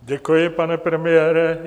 Děkuji, pane premiére.